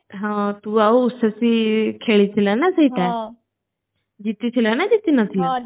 ହଁ ତୁ ଆଉ ସୈଇଫୀ ଖେଳି ଥିଲ ନା ସେଇଟା ଜିତି ଥିଲ ନା ଜିତି ନଥିଲ